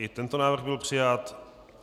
I tento návrh byl přijat.